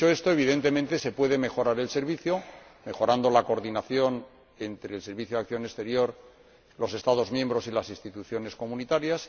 Evidentemente se puede mejorar el Servicio, mejorando la coordinación entre el Servicio Europeo de Acción Exterior, los Estados miembros y las instituciones comunitarias